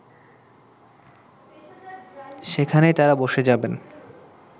সেখানেই তারা বসে যাবেন